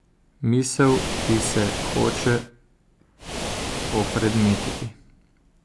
Misel, ki se hoče opredmetiti?